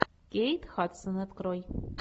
кейт хадсон открой